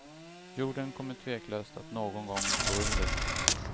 Jorden kommer tveklöst att någon gång gå under.